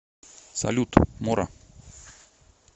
салют мора